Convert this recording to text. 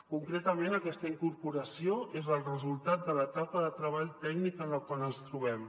concretament aquesta incorporació és el resultat de l’etapa de treball tècnic en la qual ens trobem